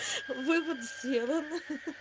вывод сделан ха-ха